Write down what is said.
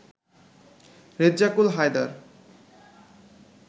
Rezzakul Haider